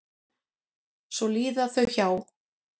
Svo líða þau hjá.